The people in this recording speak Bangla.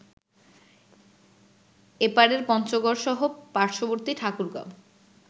এপারের পঞ্চগড়সহ পার্শ্ববর্তী ঠাকুরগাঁও